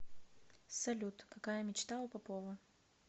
салют какая мечта у попова